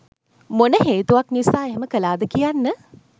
මොන හේතුවක් නිසා එහෙම කළාද කියන්න